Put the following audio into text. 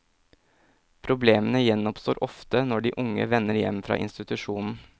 Problemene gjenoppstår ofte når de unge vender hjem fra institusjonen.